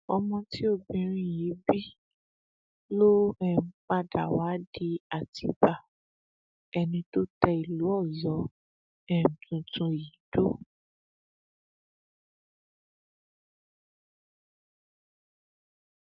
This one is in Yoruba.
ọmọ tí obìnrin yìí bí ló um padà wàá di àtibá ẹni tó tẹ ìlú ọyọ um tuntun yìí dó